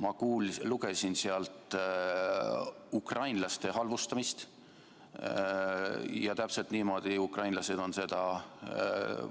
Ma lugesin sealt ukrainlaste halvustamist, ja täpselt niimoodi on ukrainlased seda